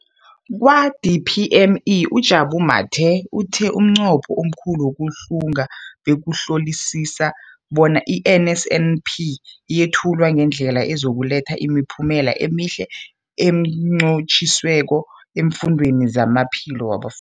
Kwa-DPME, uJabu Mathe, uthe umnqopho omkhulu wokuhlunga bekukuhlolisisa bona i-NSNP yethulwa ngendlela ezokuletha imiphumela emihle nenqotjhiweko efundweni nezamaphilo wabaf